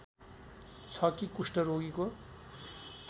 छ कि कुष्ठरोगीको